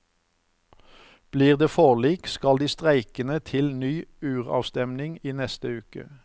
Blir det forlik, skal de streikende til ny uravstemning i neste uke.